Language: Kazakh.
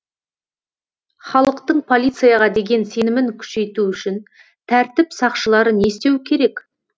халықтың полицияға деген сенімін күшейту үшін тәртіп сақшылары не істеу керек